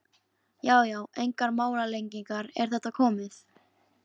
Já já, engar málalengingar, er þetta komið?